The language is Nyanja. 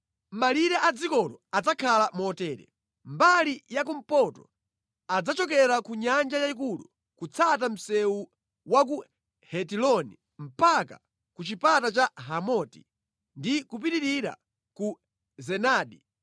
“Malire a dzikolo adzakhala motere: Mbali ya kumpoto adzachokera ku Nyanja Yayikulu kutsata msewu wa ku Hetiloni mpaka ku chipata cha Hamoti ndi kupitirira ku Zedadi,